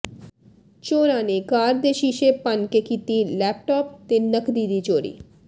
ਚੋਰਾਂ ਨੇ ਕਾਰ ਦੇ ਸ਼ੀਸ਼ੇ ਭੰਨ ਕੇ ਕੀਤੀ ਲੈਪਟਾਪ ਤੇ ਨਕਦੀ ਦੀ ਚੋਰੀ